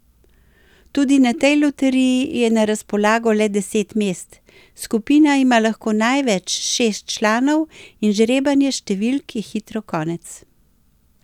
Tudi na tej loteriji je na razpolago le deset mest, skupina ima lahko največ šest članov in žrebanja številk je hitro konec.